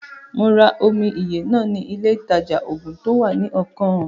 Mo ra omi ìyè náà ni ilé ìtajà-oògùn to wá ní ọkàn ùn